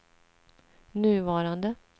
nuvarande